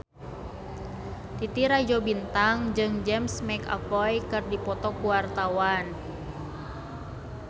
Titi Rajo Bintang jeung James McAvoy keur dipoto ku wartawan